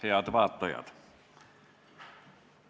Head vaatajad!